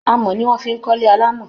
Amọ̀ ni wọ́n fi ń kọ́lé alámọ̀